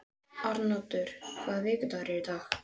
Arnoddur, hvaða vikudagur er í dag?